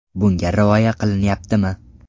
Bunga rioya qilinyaptimi?